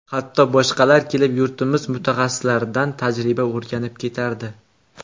Hatto boshqalar kelib, yurtimiz mutaxassislaridan tajriba o‘rganib ketardi.